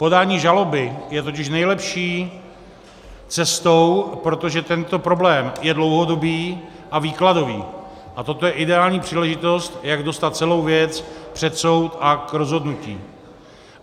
Podání žaloby je totiž nejlepší cestou, protože tento problém je dlouhodobý a výkladový a toto je ideální příležitost, jak dostat celou věc před soud a k rozhodnutí.